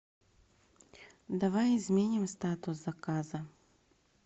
давай изменим статус заказа